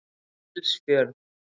Gilsfjörð